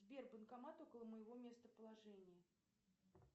сбер банкомат около моего местоположения